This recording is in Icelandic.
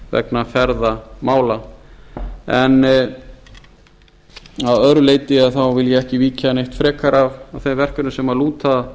vegna ferðamála en að öðru leyti vil ég ekki víkja eitt frekar að þeim verkefnum sem lúta